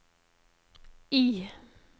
I